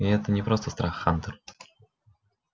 и это не просто страх хантер